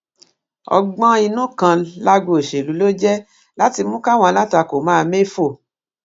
ọgbọninú kan lágbo òṣèlú ló jẹ láti mú káwọn alátakò máa méfò